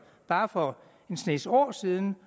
bare for en snes år siden